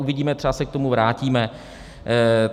Uvidíme, třeba se k tomu vrátíme.